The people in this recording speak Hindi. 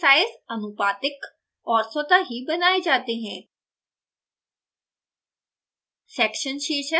इन शीर्षकों के sizes आनुपातिक और स्वतः ही बनाये जाते हैं